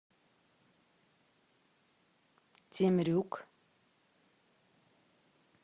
темрюк